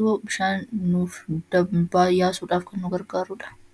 ta'u bishaan dabarsuuf kan tajaajiluu dha.